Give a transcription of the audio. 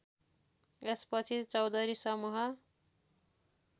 यसपछि चौधरी समूह